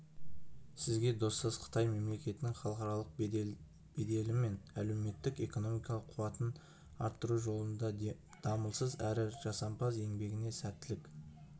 сізге достас қытай мемлекетінің халықаралық беделі мен әлеуметтік-экономикалық қуатын арттыру жолындағы дамылсыз әрі жасампаз еңбегіңізге сәттілік